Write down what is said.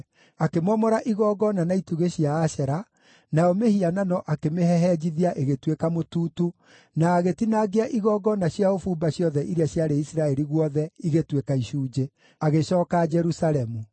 akĩmomora igongona na itugĩ cia Ashera, nayo mĩhianano akĩmĩhehenjithia ĩgĩtuĩka mũtutu, na agĩtinangia igongona cia ũbumba ciothe iria ciarĩ Isiraeli guothe igĩtuĩka icunjĩ. Agĩcooka Jerusalemu.